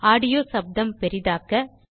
audio சப்தம் பெரிதாக்க